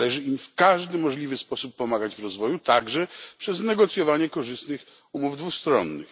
Należy im w każdy możliwy sposób pomagać w rozwoju, także przez negocjowanie korzystnych umów dwustronnych.